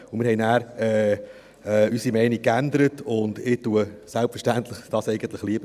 Wir haben dann unsere Meinung geändert, und dies vertrete ich selbstverständlich lieber.